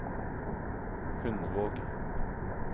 Hundvåg